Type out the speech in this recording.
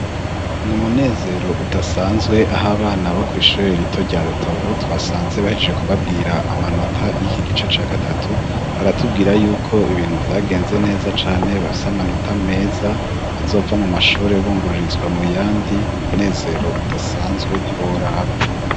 Ni umunezero udasanzwe aho abana bo ku ishuri rito rya rutovu twasanze bahejeje kubabwira amanota y'iki gice ca gatatu baratubwira yuko ibintu byagenze neza cane bafise amanota meza bazova mu mashuri bungururizwa mu yandi ni umunezero udasanzwe ntiwo uraba.